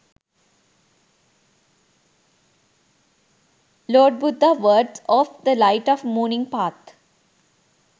lord buddha words of the light of morning path